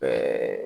Ɛɛ